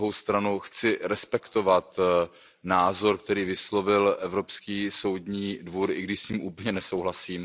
Na druhou stranu chci respektovat názor, který vyslovil Evropský soudní dvůr, i když s ním úplně nesouhlasím.